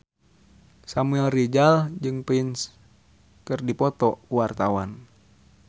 Samuel Rizal jeung Prince keur dipoto ku wartawan